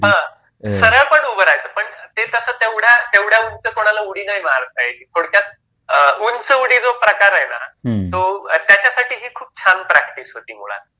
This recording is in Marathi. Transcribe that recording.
हा, सरळ पण उभे राहायचे पण ते तसं तेवढ्या उंच कुणाला उडी नाही मारता यायची. थोडक्यात उंच उडी जो प्रकार आहे ना, तो त्याच्यासाठी ही खूप छान प्रॅक्टिस होती मुळात.